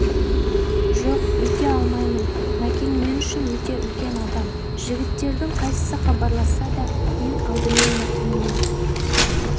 жоқ өйте алмаймын мәкең мен үшін өте үлкен адам жігіттердің қайсысы хабарласса да мен алдымен мәкеңнің